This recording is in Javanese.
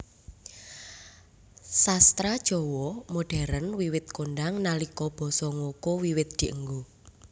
Sastra Jawa modern wiwit kondhang nalika basa ngoko wiwit dienggo